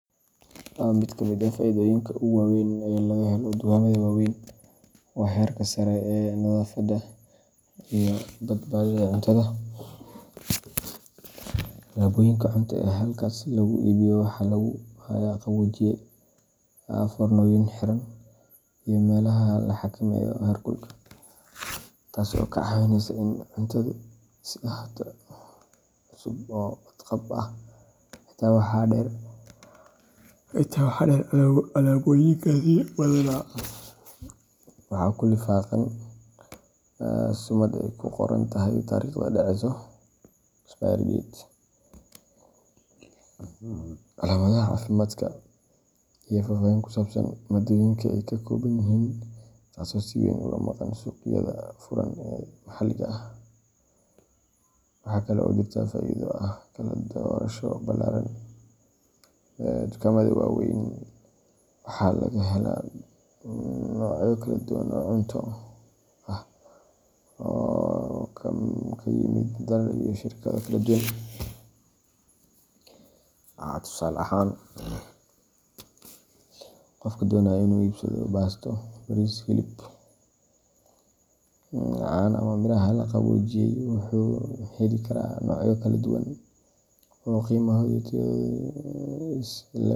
Mid ka mid ah faa’iidooyinka ugu waaweyn ee laga helo dukaamada waaweyn waa heerka sare ee nadaafadda iyo badbaadada cuntada. Alaabooyinka cunto ee halkaas lagu iibiyo waxaa lagu hayaa qaboojiye, foornooyin xiran, iyo meelaha la xakameeyo heerkulka, taasoo ka caawinaysa in cuntadu sii ahaato cusub oo badqab ah. Intaa waxaa dheer, alaabooyinkaasi badanaa waxaa ku lifaaqan sumad ay ku qoran tahay taariikhda dhaceso. expiry date, calaamadaha caafimaadka, iyo faahfaahin ku saabsan maaddooyinka ay ka kooban yihiin taasoo si weyn uga maqan suuqyada furan ee maxalliga ah. Waxaa kale oo jirta faa’iido ah kala-doorasho ballaaran. Dukaamada waaweyn waxaa laga helaa noocyo kala duwan oo cunto ah oo ka yimid dalal iyo shirkado kala duwan. Tusaale ahaan, qofka doonaya inuu iibsado baasto, bariis, hilib, caano ama miraha la qaboojiyay wuxuu heli karaa noocyo kala duwan oo qiimahooda iyo tayadooda is le’eg.